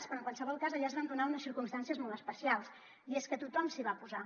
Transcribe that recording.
però en qualsevol cas allà es van donar unes circumstàncies molt especials i és que tothom s’hi va posar